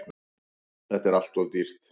Þetta er alltof dýrt.